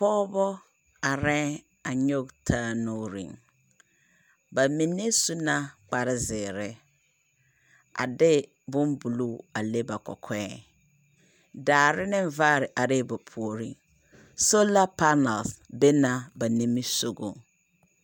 Pͻgebͻ arԑԑŋ a nyͻge taa nuuriŋ. Ba mine su na kpare zeere a de bombuluu a le ba kͻkͻԑ. Daare ne vaare arԑԑ ba puoriŋ. Sola panaal be na ba nimbisogͻŋ.